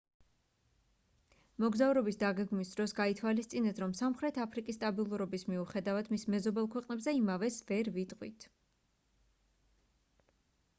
მოგზაურობის დაგეგმვის დროს გაითვალისწინეთ რომ სამხრეთ აფრიკის სტაბილურობის მიუხედავად მის მეზობელ ქვეყნებზე იმავეს ვერ ვიტყვით